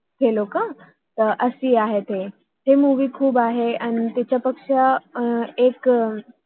hello hello क अं अशे आहे त आहे अह थे मुवि movie खूप आहे आणि तिच्यापेक्षा एक